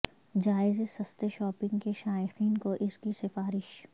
جائزے سستے شاپنگ کے شائقین کو اس کی سفارش